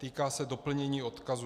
Týká se doplnění odkazů.